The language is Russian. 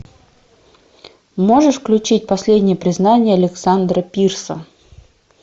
можешь включить последнее признание александра пирса